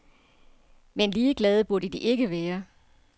Men ligeglade burde de ikke være.